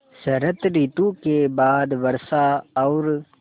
शरत ॠतु के बाद वर्षा और